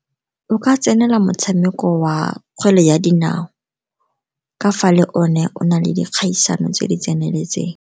O ka tsenela motshameko wa kgwele ya dinao, ka fa le one o na le dikgaisano tse di tseneletseng.